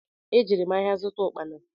E jere m áhiá zụta ukpana.